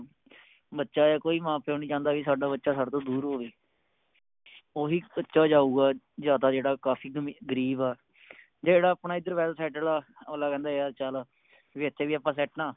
ਬੱਚਾ ਯਾ ਕੋਈ ਮਾਂ ਪਿਓ ਨੀ ਚਾਂਹਦਾ ਵੀ ਸਾਡਾ ਬਚਾ ਸਾਡੇ ਤੋਂ ਦੂਰ ਹੋਵੇ ਓਹੀ ਬੱਚਾ ਜਾਊਗਾ ਜਾ ਤਾ ਜਿਹੜਾ ਕਾਫੀ ਗਰੀਬ ਆ ਜਾ ਜਿਹੜਾ ਆਪਣਾ ਏਧਰ Well settled ਆ ਅਗਲਾ ਕਹਿੰਦਾ ਯਾਰ ਚਲ ਵੀ ਇਥੇ ਵੀ ਅੱਪਾ Set ਆ